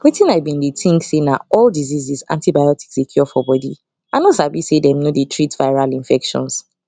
wetin i been dey think say na all dieases antibiotics dey cure for body i no sabi say them no dey treat viral infections